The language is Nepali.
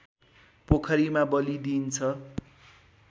पोखरीमा बलि दिइन्छ